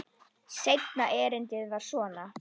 Seinna erindið var svona: